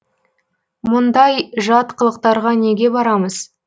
мұндай жат қылықтарға неге барамыз